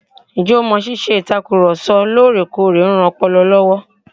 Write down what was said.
Ǹjẹ o mọ̀ ṣíṣe ìtakùrọ̀ sọ lóòrèkóòrè ń ran ọpọlọ lọ́wọ́?